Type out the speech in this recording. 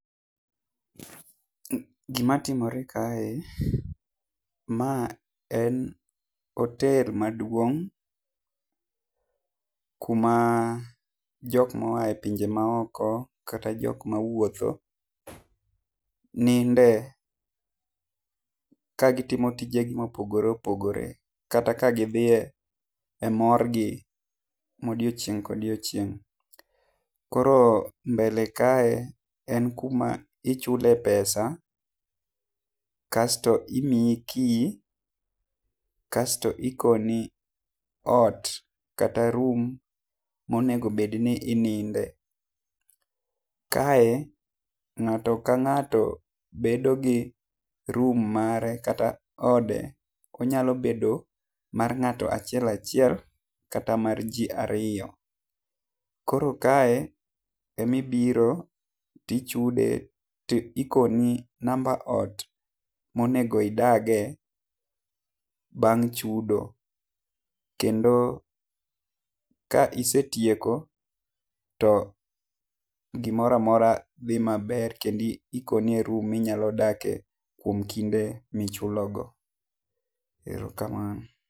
Gi ma timore kae ma en hotel maduong ku ma jok maoa e pinje ma oko kata jo ma wuotho ninde ka gi timo tije gi ma opogore opogore kata ka dhi e mor gi ma odiechieng ka odiechieng. Koro mbele kae en ku ma ichule pesa[css] asto imiyi key asto ikoni ot kata room ma onego bed ni ininde. Kae ng'ato ka ng'ato bedo gi room mare kata ode, onyalo bedo mar ng'ato achiel kata mar ji ariyo. Koro kae ema i biro ti ichude ti ikoni namba ot ma onego idage bang chudo. Kendo ka isetieko to gi moro amora dhi ma ber kendo ikoni e room ma inya dakie e kinde ma ichulo go. Erokamano.